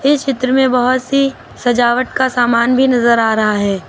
इस चित्र में बहोत सी सजावट का सामान भी नजर आ रहा है।